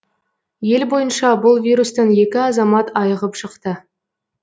ел бойынша бұл вирустан екі азамат айығып шықты